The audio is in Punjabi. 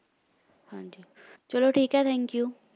ਹਾਂ ਜੀ ਚਲੋ ਠੀਕ ਹੈ thank you